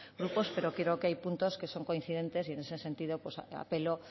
grupos pero creo que hay puntos que son coincidentes y en ese sentido apelo